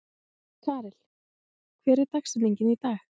Karel, hver er dagsetningin í dag?